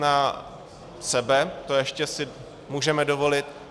Na sebe, to si ještě můžeme dovolit.